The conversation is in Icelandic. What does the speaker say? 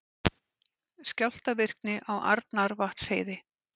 Skjálftavirkni á Arnarvatnsheiði